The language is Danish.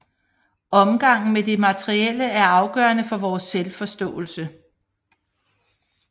Omgangen med det materielle er afgørende for vores selvforståelse